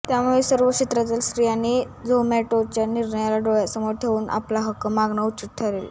त्यामुळे सर्वच क्षेत्रातल्या स्त्रियांनी झोमॅटोच्या निर्णयाला डोळ्यासमोर ठेवून आपला हक्क मागणं उचित ठरेल